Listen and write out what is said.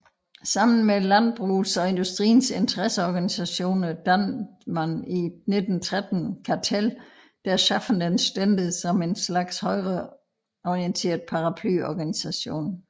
Sammen med landbrugets og industriens interesseorganisationer dannedes i 1913 Kartell der schaffenden Stände som en slags højreorienteret paraplyorganisation